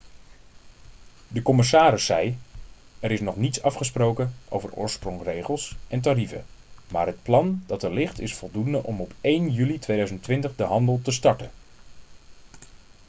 de commissaris zei: 'er is nog niets afgesproken over oorsprongsregels en tarieven maar het plan dat er ligt is voldoende om op 1 juli 2020 de handel te starten.'